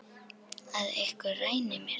Að einhver ræni mér.